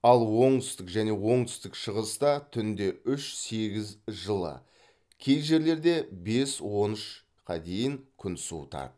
ал оңтүстік және оңтүстік шығыста түнде үш сегіз жылы кей жерлерде бес он үшқа дейін күн суытады